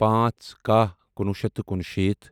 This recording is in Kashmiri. پانژھ کہَہ کنُوہُ شیتھ کنُشیٖتھ